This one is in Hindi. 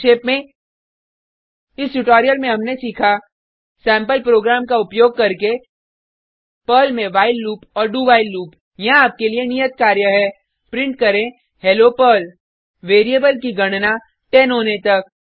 संक्षेप में इस ट्यूटोरियल में हमने सीखा सेम्पल प्रोग्राम्स का उपयोग करके पर्ल में व्हाइल लूप और do व्हाइल लूप यहाँ आपके लिए नियत कार्य है प्रिंट करें हेलो पर्ल वेरिएबल की गणना 10 होने तक